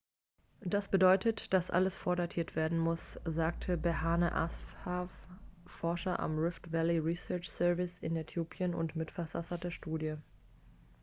das bedeutet dass alles vordatiert werden muss sagte berhane asfaw forscher am rift valley research service in äthiopien und mitverfasser der studie